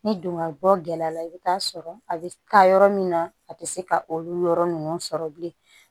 Ni dongali bɔ gɛlɛya la i bi t'a sɔrɔ a bɛ taa yɔrɔ min na a tɛ se ka olu yɔrɔ ninnu sɔrɔ bilen